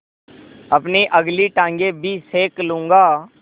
अपनी अगली टाँगें भी सेक लूँगा